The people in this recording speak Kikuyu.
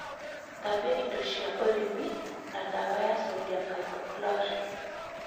Thabia indo cĩa ũrĩmi na dawa ya sodium hypochlorite